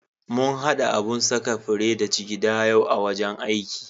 Mun haɗa abun saka fure da jigida yau a wajen aiki.